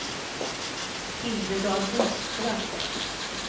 Hildegard Lidström